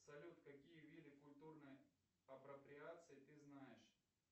салют какие виды культурной апроприации ты знаешь